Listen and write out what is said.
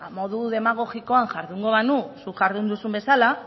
modu demagogikoan jardungo banu zuk jardun bezala